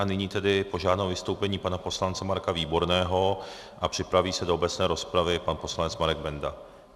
A nyní tedy požádám o vystoupení pana poslance Marka Výborného a připraví se do obecné rozpravy pan poslanec Marek Benda.